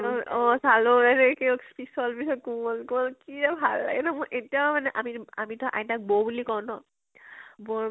উম অ ছাল পিছল পিছল কোমল কোমল কি যে ভাল লাগে ন মোৰ এতিয়াও মানে আমিতো আমিতো আইতাক বৌ বুলি কও ন, বৌৰ